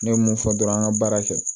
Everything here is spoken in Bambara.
Ne ye mun fɔ dɔrɔn an ka baara kɛ